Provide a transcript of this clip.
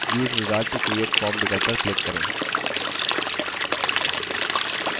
और फिर use wizard to create form विकल्प पर click करें